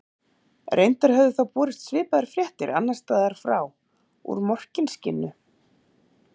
Reyndar höfðu þá borist svipaðar fréttir annars staðar frá, úr Morkinskinnu.